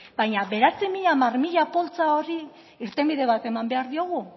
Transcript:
baina bederatzizero hamarzero poltsa horri irtenbide bat eman behar diogu